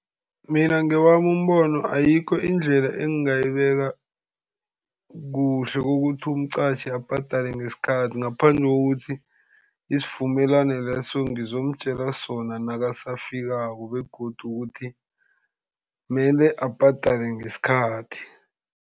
Mina ngewami umbono, ayikho indlela engingayibeka kuhle ukuthi umqatjhi abhadale ngesikhathi, ngaphandle kokuthi isivumelwano leso ngizomtjela sona nakasafikako, begodu ukuthi kumele abhadale ngesikhathi.